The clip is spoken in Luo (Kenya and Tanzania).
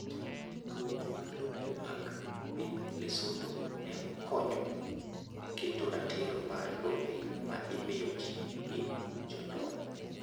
Ndikruok mag lope mag piny Lesotho ne okonyo e keto ratiro mar lope ma imiyo ji gi jonyuol.